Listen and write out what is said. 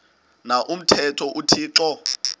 na umthetho uthixo